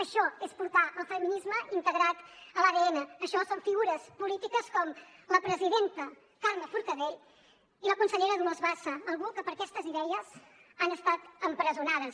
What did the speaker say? això és portar el feminisme integrat a l’adn això són figures polítiques com la presidenta carme forcadell i la consellera dolors bassa algú que per aquestes idees han estat empresonades